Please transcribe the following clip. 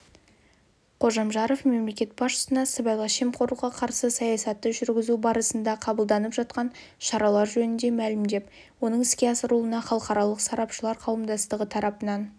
қожамжаров мемлекет басшысына сыбайлас жемқорлыққа қарсы саясатты жүргізу барысында қабылданып жатқан шаралар жөнінде мәлімдеп оның іске асырылуына халықаралық сарапшылар қауымдастығы тарапынан